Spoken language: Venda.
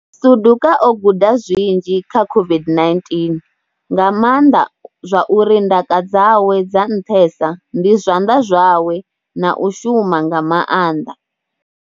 Suduka o guda zwinzhi kha COVID-19, nga maanḓa zwa uri ndaka dzawe dza nṱhesa ndi zwanḓa zwawe na u shuma nga maanḓa.